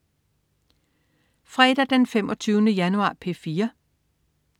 Fredag den 25. januar - P4: